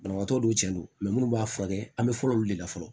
Banabagatɔ dɔw cɛn don munnu b'a furakɛ an bɛ fɔlɔ olu de la fɔlɔ